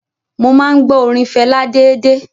Mo máa ń gbọ́ orin Fẹlá déédéé.